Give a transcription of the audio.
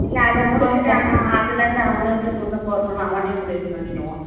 இல்ல அதை முடிச்சுட்டான்னா அதுல இருந்து அவன் எப்படி முன்னுக்கு வரணும்னு அவனே முடிவு பண்ணிடுவான்